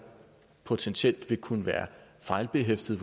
potentielt vil kunne være fejlbehæftede